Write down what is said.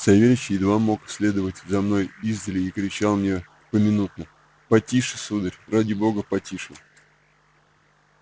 савельич едва мог следовать за мною издали и кричал мне поминутно потише сударь ради бога потише